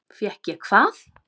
Fékk ég hvað?